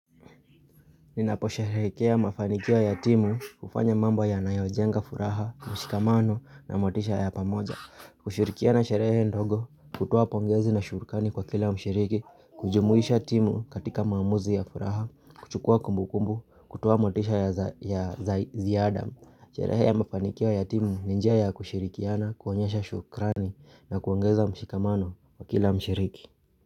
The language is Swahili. Ninapo sherekea mafanikia ya timu kufanya mambo ya nayojenga furaha, mshikamano na motisha ya pamoja. Kushirikia na sherehe ndogo kutuwa pongezi na shurikani kwa kila mshiriki, kujumuisha timu katika mamuzi ya furaha, kuchukua kumbu kumbu, kutuwa motisha ya zaizia adam. Sherehe ya mafanikia ya timu ninjaya ya kushirikiana, kuanyesha shukrani na kuangeza mshikamano kwa kila mshiriki.